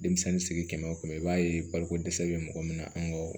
Denmisɛnnin sigi kɛmɛ o kɛmɛ i b'a ye baliko dɛsɛ bɛ mɔgɔ min na an ka